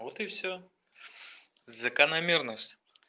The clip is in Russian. вот и всё закономерность